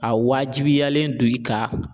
A wajibiyalen don i kan